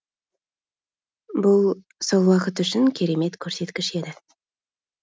бұл сол уақыт үшін керемет көрсеткіш еді